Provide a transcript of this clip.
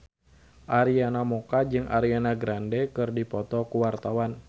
Arina Mocca jeung Ariana Grande keur dipoto ku wartawan